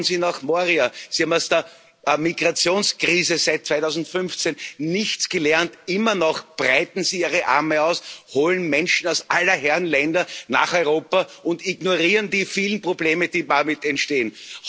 Schauen Sie nach Moria Sie haben aus der Migrationskrise seit 2015 nichts gelernt. Immer noch breiten Sie ihre Arme aus, holen Menschen aus aller Herren Länder nach Europa und ignorieren die vielen Probleme, die damit entstehen.